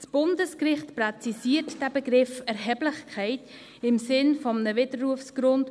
Das Bundesgericht präzisiert den Begriff der Erheblichkeit im Sinn eines Widerrufsgrunds.